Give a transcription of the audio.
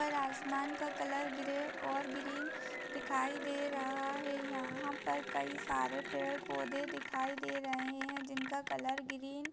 ऊपर आसमान का कलर ग्रे और ग्रीन दिखाई दे रहा है यहाँ पर कई सारे पेड़-पौधे दिखाई दे रहे है जिनका कलर ग्रीन --